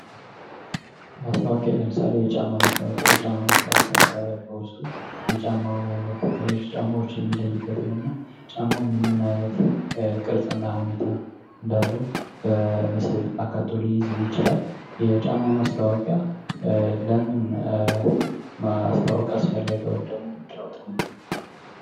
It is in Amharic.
ማስታወቂያ ለምሳሌ የጫማ ማስታወቂያ የጫማ ማስታወቂያ በውስጡ የጫማውን አይነት ከሌሎች ጫማዎችየሚለይበትንና ጫማው ምንምን አይነት ቅርጽና ሁኔታ እንዳለው በምስል አካቶ ሊይዝ ይችላል የጫማ ማስታወቂያ ለምን ማስታወቂያ አስፈለገው ወይም ደግሞ ምንድነው ጥቅሙ